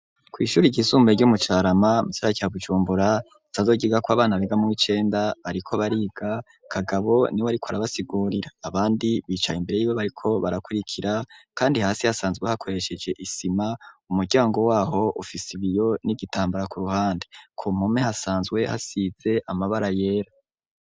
Kw'ishuri igisumbuye ryo umucarama mucara cya bucumbura tazogiga ko abana begamo icenda bariko bariga kagabo ni we ari ko arabasigorira abandi bicaye imbere yiwe bariko barakurikira, kandi hasi hasanzwe hakoresheje isima umuryango waho ufise ibiyo n'igitambara ku ruhande ko mpume hasanzwe hasize amabara yi yera.